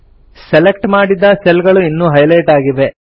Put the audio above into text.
select ಮಾಡಿದ cell ಗಳು ಇನ್ನೂ ಹೈಲೈಟ್ ಆಗಿವೆ